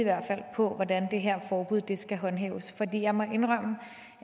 på hvordan det her forbud skal håndhæves jeg må indrømme